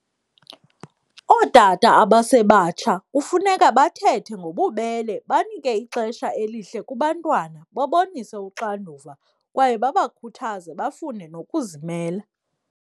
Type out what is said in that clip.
Ootata abasebatsha kufuneka bathethe ngobubele, banike ixesha elihle kubantwana, babonise uxanduva kwaye babakhuthaze bafune nokuzimela.